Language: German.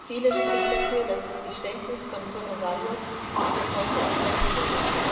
Vieles spricht dafür, dass das Geständnis von Konowalow unter Folter erpresst wurde.